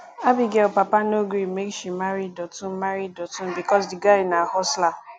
abigail papa no gree make she marry dotun marry dotun because the guy na hustler